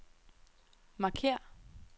markér